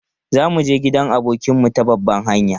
Za mu je gidan abokinmu ta babban hanya.